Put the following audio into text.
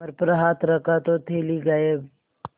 कमर पर हाथ रखा तो थैली गायब